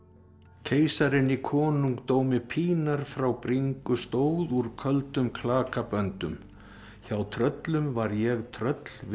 keisarinn í konungdómi pínar frá bringu stóð úr köldum klakaböndum hjá tröllum var ég tröll við